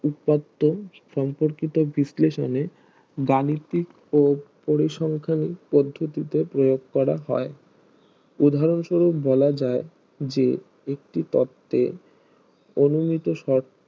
উৎপাত সম্পর্কিত বিশ্লেষণে গাণিতিক ও পরিসংখ্যা পদ্ধতিতে প্রয়োগ করা হয় উদহারণ স্বরূপ বলাযায় যে একটি তত্ত্বে অনুহিত শর্ত